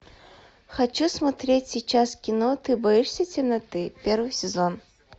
хочу смотреть сейчас кино ты боишься темноты первый сезон